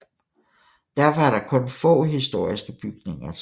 Derfor er der kun få historiske bygninger tilbage